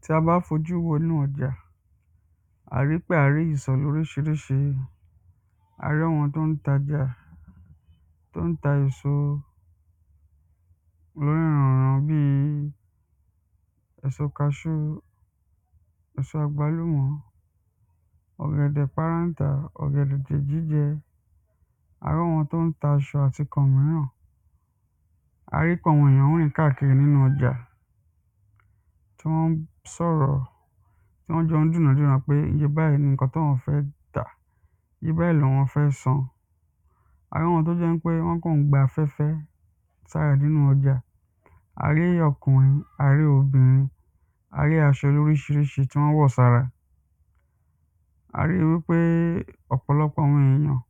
tí a bá fojú wo inú ọjà, a ríi pé àá rí ìsọ̀ lóríṣiríṣi, à rí àwọn tó n tajà, tó ń ta èsò onírunrun bíi èso kaṣú, èso àgbálùmọ̀ ọ̀gẹ̀dẹ̀ párántà àti ọ̀gẹ̀dẹ̀ jíjẹ, á ri àwọn tó ń ta aṣọ àti ǹkan míràn. a rí pé àwọn èyàn ń rìn káàkiri nínú ọjà tí wọ́n ń sọ̀rọ̀ tí wọ́n jọ ń dùnádúràá pé iye báyìí ni ǹkan táwọn fẹ́ tà iye báyìí láwọn fẹ́ san. a rí wọn tó jẹ́ ń pé wọ́n kàn ń gba afẹ́fẹ́ táarà nínú ọjà, a rí okùnrin, a rí obìnrin, a rí aṣọ lóríṣiríṣi tí wọ́n wọ̀ sára a rí wípé ọ̀pọ̀lọ́pọ̀ àwọn èyàn,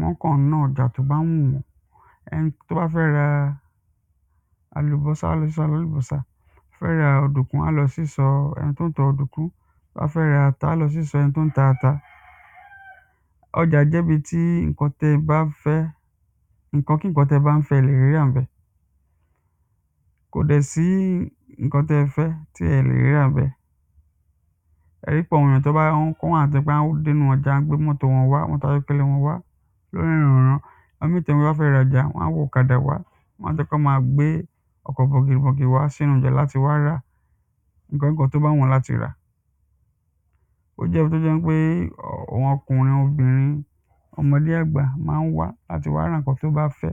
wọ́n kàn ń ná ọjá tó bá wùn wọ́n ẹni tó bá fẹ́ ra àlùbọ́sà, á lọ sí ìsọ̀ alálùbọ́sà, a fẹ́ ra ọ̀dùnkún, á lọ sí ìsọ̀ ẹni tó ń ta ọ̀dùnkún, tó bá ra fẹ́ ata, á lọ sí ìsọ̀ ẹni tó ń ta ata ọjà jẹ́ ibi tí ǹkan tẹ́ ẹ bá ń fẹ́ ǹkankíǹkan tẹ́ẹ bá ń fẹ́, ẹ lẹ̀ rí rà ńbẹ̀ kò dẹ̀ sí ǹkan tẹ́ẹ fẹ́ tí ẹ̀ lè rí rà ńbẹ̀. ẹ rí pé àwọn ìyàn tón bá àwọn kan wà tó jẹ́ pé wọ́n á dé inú ọjà wán gbé mótò wọn wá, mótò ayọ́kẹ́lẹ́ wọn wá lónírun-ùnrun. àwọn míì tí wọ́n bá fẹ́ rajà, wán wọ ọ̀kadà wá. wán tí fẹ́ gbé ọkọ̀ bọ̀gìnìbọ̀gìnì wá sínú ọjà láti wá ra ǹkan kí ǹkan tó bá wù wọ́n láti rà. ó jẹ́ ohun tó jẹ́ pé ọkùnrin, obìnrin, ọmọdé, àgbà ma ń wá láti wá rá ǹkan tó bá fẹ